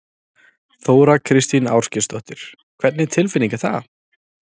Þóra Kristín Ásgeirsdóttir: Hvernig tilfinning er það?